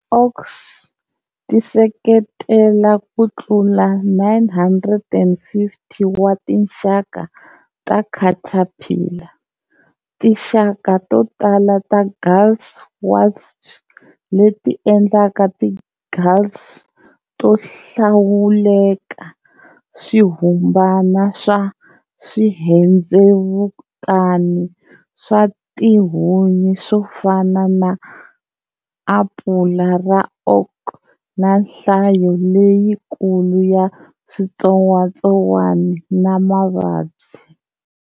Oaks ti seketela kutlula 950 wa tinxaka ta caterpillar, tinxaka totala ta gall wasp leti endlaka ti galls to hlawuleka, swirhumbana swa swirhendzevutani swa tihunyi swofana na apula ra oak, na nhlayo leyikulu ya switsotswana na mavabyi.